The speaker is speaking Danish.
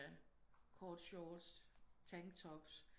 Kort shorts tanktops